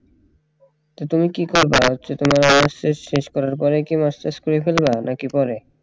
তো তুমি কি করবা হচ্ছে তোমার honours শেষ শেষ করার পরেই কি masters করে ফেলবা নাকি পরে